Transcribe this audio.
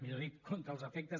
millor dit contra els efectes